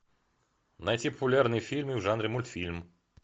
найти популярные фильмы в жанре мультфильм